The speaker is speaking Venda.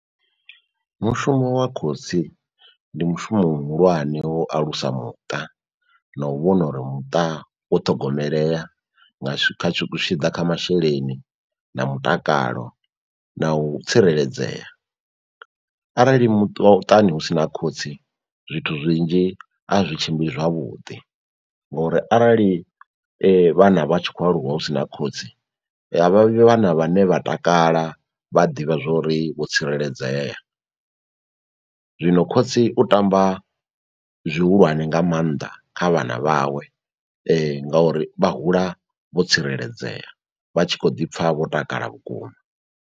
Mushumo wa khotsi ndi mushumo muhulwane wo alusa muṱa, na u vhona uri muṱa wo ṱhogomelea nga zwi tshi ḓa kha masheleni na mutakalo na u tsireledzea. Arali muṱani hu sina khotsi zwithu zwinzhi a zwi tshimbili zwavhuḓi, ngori arali vhana vha tshi khou aluwa husina khotsi avha vhi vhana vhane vha takala vha ḓivha zwori ri vho tsireledzea. Zwino khotsi u tamba zwihulwane nga maanḓa kha vhana vhawe nga uri vha hula vho tsireledzea vha tshi kho ḓi pfha vho takala vhukuma.